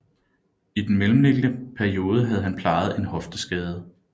I den mellemliggende periode havde han plejet en hofteskade